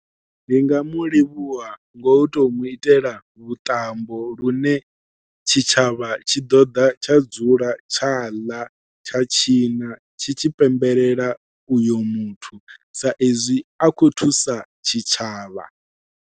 Ndi nga mu livhuwa ngo tou muitela vhuṱambo lune tshitshavha tshi ḓoḓa tsha dzula tsha ḽa tsha tshina tshi tshi pembelela uyo muthu sa ezwi a khou thusa tshitshavha.